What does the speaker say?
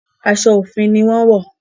Aso ofi ní wón wọ.